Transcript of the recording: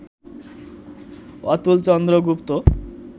Atulchandra Gupta